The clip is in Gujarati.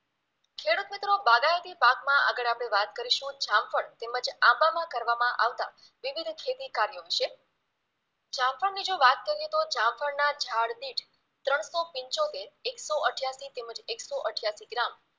આગળ આપણે વાત કરીશું જામફળ તેમજ આંબામાં કરવામાં આવતા વિવિધ ખેતીકાર્યો વિશે જામફળની જો વાત કરીએ તો જામફળના ઝાડને ત્રણસો પિંચોતેર એકસો અઠ્યાસી તેમજ એકસો અઠ્યાસી ગ્રામ